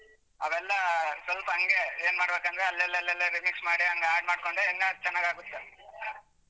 ಅವೆಲ್ಲಾ ಸ್ವಲ್ಪ ಹಂಗೇ ಏನ್ ಮಾಡ್ಬೇಕಂದ್ರೆ ಅಲ್ಲೆಲ್ಲಲ್ಲೇ remix ಮಾಡಿ ಹಂಗೆ ಹಾಡ್ಮಾಡ್ಕೊಂಡ್ ಹೆಂಗಾರ ಚೆನ್ನಾಗಾಗುತ್ತೆ.